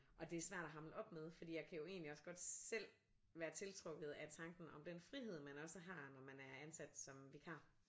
Og det er svært at hamle op med fordi jeg kan jo egentlig også godt selv være tiltrukket af tanken om den frihed man også har når man er ansat som vikar